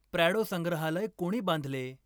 Prado संग्रहालय कोणी बांधले?